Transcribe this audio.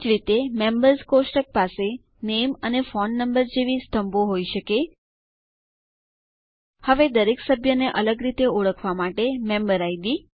તે જ રીતે મેમ્બર્સ કોષ્ટક પાસે નામે અને ફોન જેવી સ્તંભો હોઈ શકે અને દરેક સભ્ય ને અલગ રીતે ઓળખવા માટે મેમ્બર ઇડ